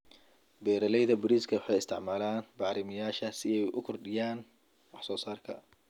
Beeralayda bariiska waxay isticmaalaan bacrimiyeyaasha si ay u kordhiyaan wax soo saarka.